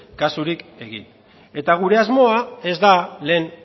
kasurik egin eta gure asmoa ez da lehen